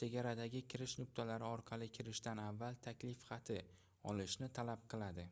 chegaradagi kirish nuqtalari orqali kirishdan avval taklif xati olishni talab qiladi